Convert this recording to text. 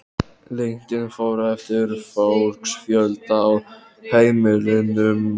Lengdin fór eftir fólksfjölda á heimilunum.